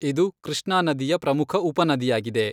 ಇದು ಕೃಷ್ಣಾ ನದಿಯ ಪ್ರಮುಖ ಉಪನದಿಯಾಗಿದೆ.